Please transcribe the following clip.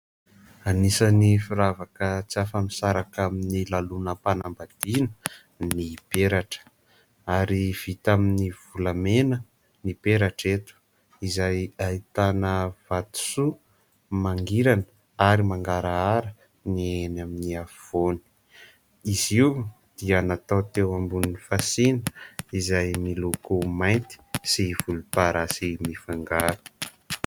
Anisany firavaka tsy afa-misaraka amin'ny lanonam-panambadiana ny peratra ary vita amin'ny volamena ny peratra eto izay ahitana vatosoa mangirana ary mangarahara ny eny amin'ny afovoany. Izy io dia natao teo ambonin'ny fasiana izay miloko mainty sy volomparasy mifangaro.